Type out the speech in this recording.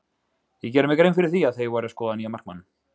Ég gerði mér grein fyrir því að þeir væru að skoða nýjan markmann.